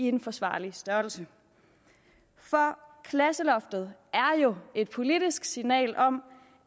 en forsvarlig størrelse for klasseloftet er jo et politisk signal om